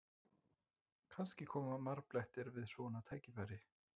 Kannski koma marblettirnir við svona tækifæri?